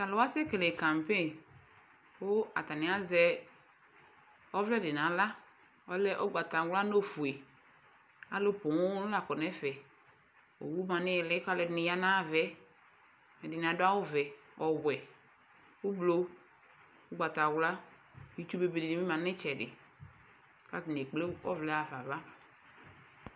Atalʋ wa ɛsɛ keke kampegn kʋ atani azɛ ɔvlɛ di n'aɣla, ɔlɛ ugbatawla nʋ ofue Alʋ pooo la kɔ n'ɛfɛ, owu ma n'ihili k'alʋ ɛdini ya n'ayavɛ Ɛdini adʋ awʋ vɛ, ɔwɛ, ʋblo, ugbatawla, itsu bebe dini bi ma n'itsɛdi k'atani ekple ɔvlɛ hafa ava